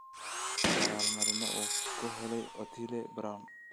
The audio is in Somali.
abaal-marinno uu ku helay otile brown